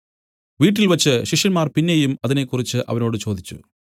വീട്ടിൽവച്ച് ശിഷ്യന്മാർ പിന്നെയും അതിനെക്കുറിച്ച് അവനോട് ചോദിച്ചു